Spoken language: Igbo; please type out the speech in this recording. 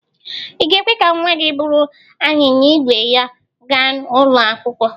Ị̀ ga-ekwe ka nnwa gị buru anyịnya ígwè ya gaa ụlọ akwụkwọ?